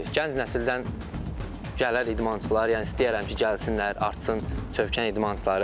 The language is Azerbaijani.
Gənc nəsildən gələr idmançılar, yəni istəyərəm ki, gəlsinlər, artsın Çövkən idmançıları.